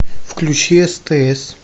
включи стс